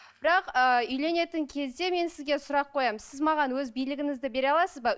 бірақ ы үйленетін кезде мен сізге сұрақ қоямын сіз маған өз билігіңізді бере аласыз ба